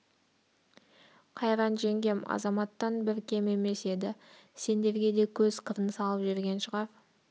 қайран жеңгем азаматтан бір кем емес еді сендерге де көз қырын салып жүрген шығар